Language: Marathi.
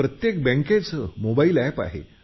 प्रत्येक बँकेचा आपला मोबाईल एप आहे